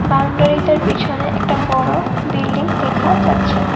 বাউন্ডারিটার পিছনে একটা বড় বিল্ডিং দেখা যাচ্ছে।